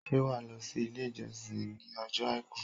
Ṣé wàá lọ sí Ilé ìjọsìn ìj ní ojó Àìkú